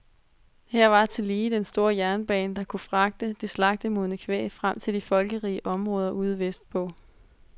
Her var tillige den store jernbane, der kunne fragte det slagtemodne kvæg frem til de folkerige områder ude vestpå.